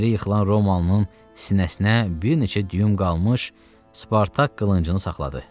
Yerə yıxılan Romalının sinəsinə bir neçə düyüm qalmış, Spartak qılıncını saxladı.